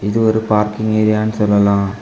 இது ஒரு பார்க்கிங் ஏரியானு சொல்லலாம்.